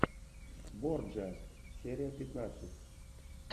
борджиа серия пятнадцать